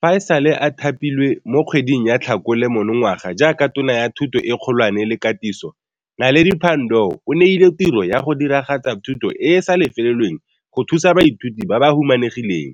Fa e sale a thapilwe mo kgweding ya Tlhakole monongwaga jaaka Tona ya Thuto e Kgolwane le Katiso, Naledi Pandor o neilwe tiro ya go diragatsa thuto e e sa lefelelweng go thusa baithuti ba ba humanegileng